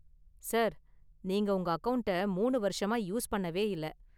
Sir, நீங்க உங்க அக்கவுண்ட்ட மூனு வருஷமா யூஸ் பண்ணவே இல்ல.